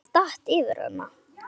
Einhver datt yfir hana.